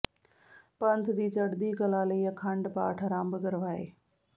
ਪੰਥ ਦੀ ਚੜ੍ਹਦੀ ਕਲਾ ਲਈ ਅਖੰਡ ਪਾਠ ਅਰੰਭ ਕਰਵਾਏ